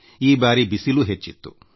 ಈ ವರ್ಷ ಬಿಸಿಲೂ ಹೆಚ್ಚಾಗಿತ್ತು